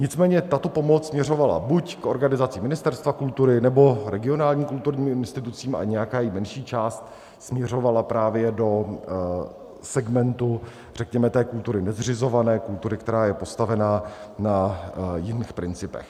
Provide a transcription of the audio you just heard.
Nicméně tato pomoc směřovala buď k organizacím Ministerstva kultury, nebo regionálním kulturním institucím a nějaká její menší část směřovala právě do segmentu, řekněme, té kultury nezřizované, kultury, která je postavená na jiných principech.